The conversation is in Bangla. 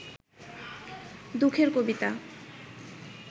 দুঃখের কবিতা